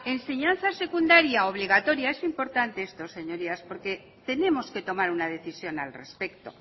enseñanza secundaria obligatoria es importante esto señorías porque tenemos que tomar una decisión al respecto